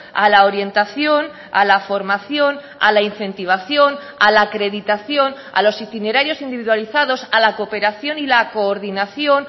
a la orientación a la formación a la incentivación a la acreditación a los itinerarios individualizados a la cooperación y la coordinación